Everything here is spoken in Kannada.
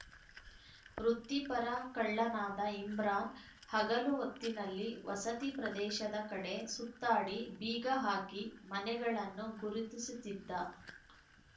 ವೃತ್ತಿಪರ ಕಳ್ಳನಾದ ಇಮ್ರಾನ್‌ ಹಗಲು ಹೊತ್ತಿನಲ್ಲಿ ವಸತಿ ಪ್ರದೇಶದ ಕಡೆ ಸುತ್ತಾಡಿ ಬೀಗ ಹಾಕಿ ಮನೆಗಳನ್ನು ಗುರುತಿಸುತ್ತಿದ್ದ